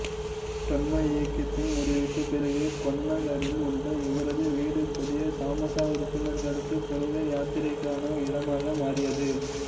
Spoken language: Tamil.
பிரம்ம இயக்கத்தின் முறிவுக்குப் பிறகு கொன்னகரில் உள்ள இவரது வீடு புதிய சமாஜ உறுப்பினர்களுக்கு புனித யாத்திரைக்கான இடமாக மாறியது